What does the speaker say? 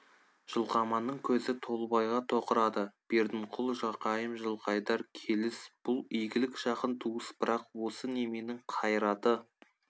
жылқаманның көзі толыбайға тоқырады бердінқұл жақайым жылқайдар келіс бұл игілік жақын туыс бірақ осы неменің қайраты